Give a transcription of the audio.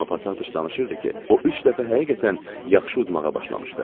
Amma Pataçıq danışırdı ki, o üç dəfə həqiqətən yaxşı udmağa başlamışdı.